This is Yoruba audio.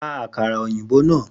Ra àkàrà òyìnbó náà!